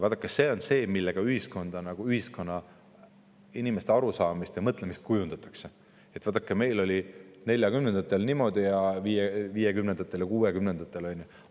Vaadake, see on see, millega ühiskonnas inimeste arusaamist ja mõtlemist kujundatakse: "Meil oli 1940-ndatel niimoodi ja 1950-ndatel ja 1960-ndatel niimoodi.